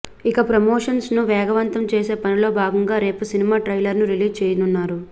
ఇక ప్రమోషన్స్ ను వేగవంతం చేసే పనిలో భాగంగా రేపు సినిమా ట్రైలర్ ను రిలీజ్ చేయనున్నారు